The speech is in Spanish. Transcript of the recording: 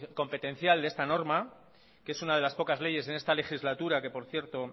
competencial de esta norma que es una de las pocas leyes en esta legislatura que por cierto